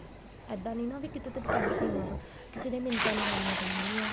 ਇੱਦਾਂ ਨੀ ਨਾ ਵੀ ਕਿਸੇ ਤੇ depend ਨੀ ਹੋਣਾ ਆਪਾਂ ਕਿਸੇ ਦੀ ਮਿੰਨਤਾ ਨਹੀਂ ਕਰਨੀ ਪੈਣ ਗਿਆ